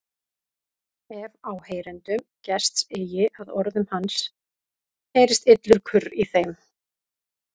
Ef áheyrendum gest eigi að orðum hans heyrist illur kurr í þeim.